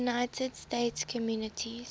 united states communities